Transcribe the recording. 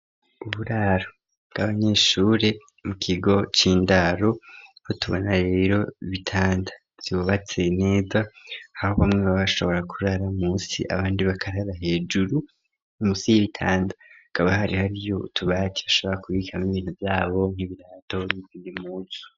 Uburaro bw'abanyeshuri mu kigo c'indaro tubona rero ibitanda vyubatse neza aho bamwe babashobora kurara munsi abandi bakarara hejuru. Munsi y'ibitanda hakaba hari hariyo utubaki bashobora kubikama ibintu vy'abo nk'ibirato n'impunzu.